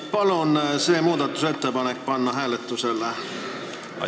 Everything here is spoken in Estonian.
Palun see muudatusettepanek hääletusele panna!